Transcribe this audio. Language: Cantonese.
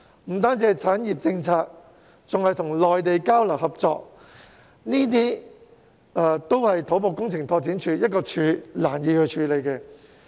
除制訂產業政策外，還需與內地交流合作，這些工作都不是土木工程拓展署可以獨力處理的。